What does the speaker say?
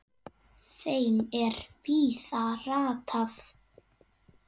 þeim er víða ratar